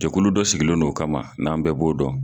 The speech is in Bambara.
Jɛkulu dɔ sigilen don o kama n'an bɛɛ b'o dɔn